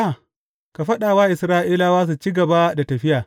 Ka faɗa wa Isra’ilawa su ci gaba da tafiya.